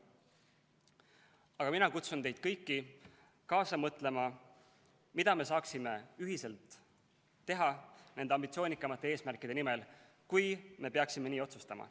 Aga mina kutsun teid kõiki kaasa mõtlema, mida me saaksime ühiselt teha nende ambitsioonikamate eesmärkide nimel, kui me peaksime nii otsustama.